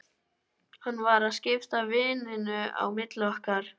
Hann var að skipta víninu á milli okkar!